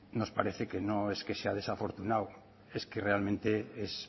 nos parece que no es que sea desafortunado es que realmente es